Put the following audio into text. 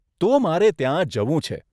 તો મારે ત્યાં જવું છે.